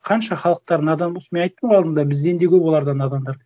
қанша халықтары надан болсын мен айттым ғой алдында бізден де көп оларда надандар